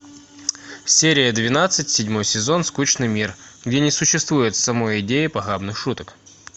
серия двенадцать седьмой сезон скучный мир где не существует самой идеи похабных шуток